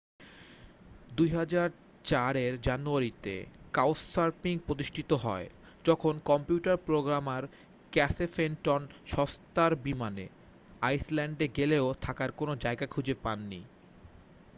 2004-এর জানুয়ারিতে কাউচসার্ফিং প্রতিষ্ঠিত হয় যখন কম্পিউটার প্রোগ্রামার ক্যাসে ফেনটন সস্তার বিমানে আইসল্যান্ডে গেলেও থাকার কোনও জায়গা খুঁজে পাননি